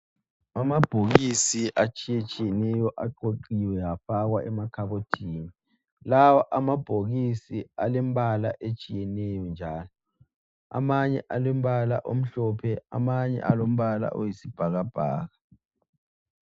Amabhokisi atshiye tshiyeneyo aqoqiwe afakwa emakhabothini, amanye alombala omhlophe amanye alombala oyisibhakabhaka.